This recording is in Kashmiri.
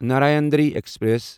نارایانادری ایکسپریس